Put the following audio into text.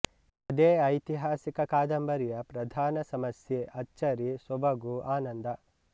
ಅದೇ ಐತಿಹಾಸಿಕ ಕಾದಂಬರಿಯ ಪ್ರಧಾನ ಸಮಸ್ಯೆ ಅಚ್ಚರಿ ಸೊಬಗು ಆನಂದ